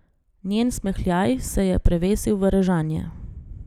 Njen smehljaj se je prevesil v režanje.